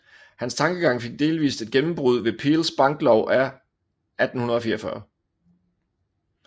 Hans tankegang fik delvist et gennembrud ved Peels banklov af 1844